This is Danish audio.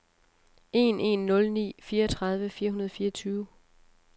en en nul ni fireogtredive fire hundrede og fireogtyve